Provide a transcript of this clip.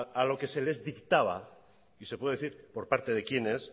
a lo que se les dictaba y se puede decir por parte de quiénes